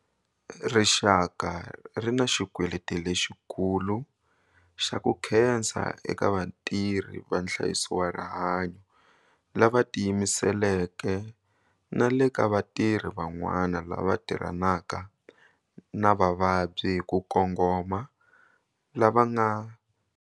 Rixaka ri na xikweleti lexikulu xa ku khensa eka vatirhi va nhlayiso wa rihanyo lava tiyimiseleke na le ka vatirhi van'wana lava tirhanaka na vavabyi hi ku kongoma lava va.